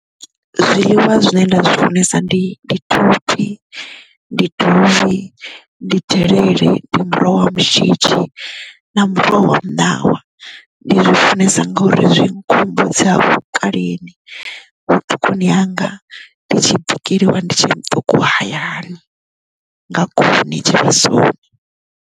Zwiḽiwa zwine nda zwi funesa ndi ndi thophi ndi dovhi ndi delele ndi muroho wa mushidzhi na muroho wa muṋawa ndi zwi funesa ngauri zwi nkhumbudza dzi ha vhukaleni vhuṱukuni hanga ndi tshi bikeliwa ndi tshe muṱuku hayani nga khuni tshivhasoni.